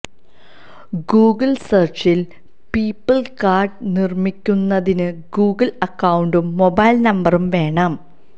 Google സെര്ച്ചില് people card നിര്മിക്കുന്നതിന് Google അക്കൌണ്ടും മൊബൈല് നമ്പറും വേണം